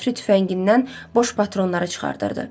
Jefri tüfəngindən boş patronları çıxardırdı.